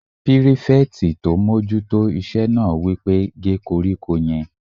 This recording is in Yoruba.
Pírífẹ̀tì tó n mójú tó iṣẹ́ náà wí pé "gé koríko yẹn!"